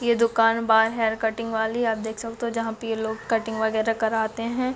ये दुकान बाल हेयर कटिंग वाली आप देख सकते हो जहाँ पे लोग कटिंग वगैरह कराते हैं।